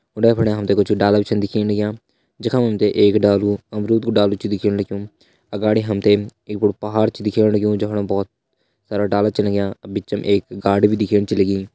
उंडे फुंडे हम ते कुछ डाला भी छन दिखेण लग्यां जखा मा हम ते एक डारू अमरुद कु डालू छ दिखेण लग्युं अगाड़ी हम ते एक बड़ु पहाड़ छ दिखेण लग्युं जफणा बहोत सारा डाला छ लग्यां बिचम एक गाड भी दिखेण छ लगीं।